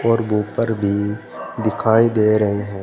और वूफर भी दिखाई दे रहे हैं।